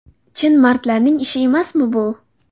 Chin mardlarning ishi emasmi bu?